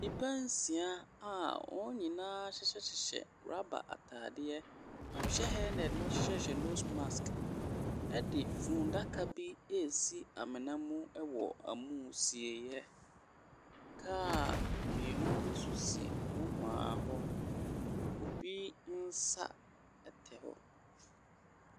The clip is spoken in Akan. Nnipa nsia a wɔn nyinaa hyehyɛ hyehyɛ rubber atadeɛ, wɔhyɛ helmet na wɔhyehyɛhyehyɛ nose mask de funnaka bi resi amena mu wɔ amusieeɛ. Car mmienu bi nso si nohoa hɔ. Obi nsa tɛ hɔ.